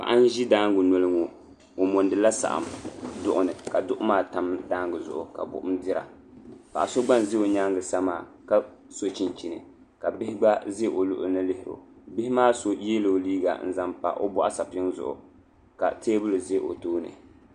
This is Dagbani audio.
paɣ' n ʒɛ daaga nuli ŋɔ o modila saɣim duɣini ka duɣi maa tam taangiɣu ka kom ʒɛya paɣ' so gba n za o nyɛŋa sa maa ka so chichin ka bihi gba ʒɛ o luɣi ni lihiro bihi maa so yɛla o liga n zan pa o buɣisapim zuɣ' ka tɛbuliʒɛ o tuuni